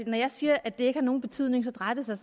når jeg siger at det ikke har nogen betydning drejer det sig